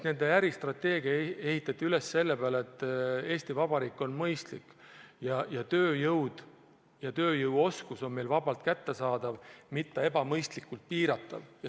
Nende äristrateegia ehitati üles selle peale, et Eesti Vabariik on mõistlik ja tööjõud ja tööjõu oskused on vabalt kättesaadavad, seda ebamõistlikult ei piirata.